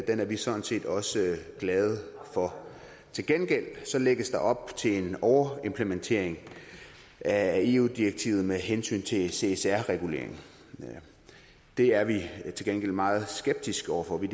er vi sådan set også glad for til gengæld lægges der op til en overimplementering af eu direktivet med hensyn til csr reguleringen det er vi til gengæld meget skeptiske over for vi